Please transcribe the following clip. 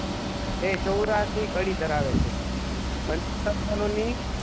તે ચૌરાસી ઘડી ધરાવે છે સર્જનોની